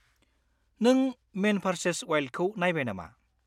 -नों man versus वाइल्डखौ नायबाय नामा?